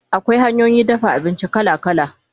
Akwai hanyoyin dafa abinci kala kala